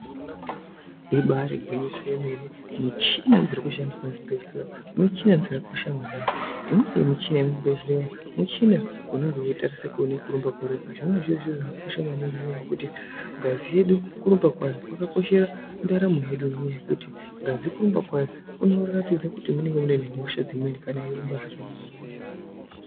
Ibari gwinyiso yemene ,michina dzirikushandiswe muzvibhehleya michina dzakakosha mwaningi. Imweni michina yemuzvibhehleya michina unenge yeitarise kurumba kweropa .Zvine zviri zviro zvakosha mwaninngi ngenyaya yekuti ngazi yedu kurumba kwayo kwakakoshera mundaramo yedu ngekuti ngazi kurumba kwayo kunoratidze kuti munenge muine hosha imweni kana yeirumba zvakanyanya.